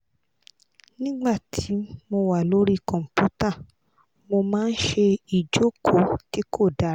nigbati mo wa lori computer mo maa n se ijoko ti ko dara